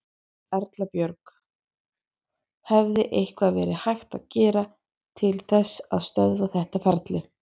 Erla Björg: Hefði eitthvað verið hægt að gera til þess að stöðva þetta ferli?